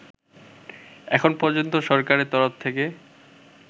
এখনো পর্যন্ত সরকারের তরফ থেকে